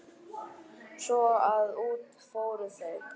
Svo að út fóru þau.